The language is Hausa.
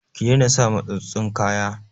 Ki daina sa matsatstsun kaya!